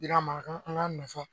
I ka mara kan, an ka nafa.